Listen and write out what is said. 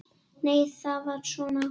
Nei, það var svona!